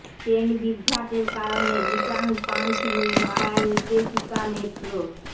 train বিভ্রাটের কারণে return punch নিয়ে নয়া নির্দেশিকা মেট্রোর